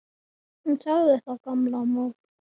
Hún sagði það gamla mold.